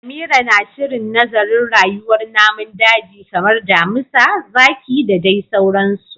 Amira na shirin nazarin rayuwar namun daji kamar damisa, zaki da dai sauransu